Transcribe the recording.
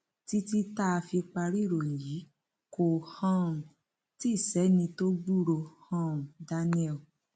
títí tá a fi parí ìròyìn yìí kò um tí ì sẹni tó gbúròó um daniel